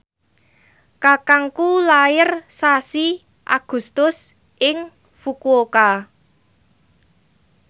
kakangku lair sasi Agustus ing Fukuoka